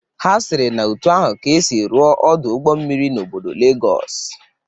Ha sịrị na otu ahụ ka esi rụọ Ọdụ ụgbọ mmiri n'obodo Legọs